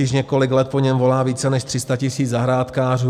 Již několik let po něm volá více než 300 000 zahrádkářů.